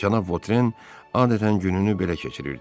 Cənab Votren adətən gününü belə keçirirdi.